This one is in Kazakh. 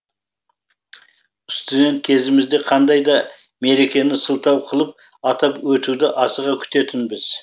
студент кезімізде қандай да мерекені сылтау қылып атап өтуді асыға күтетінбіз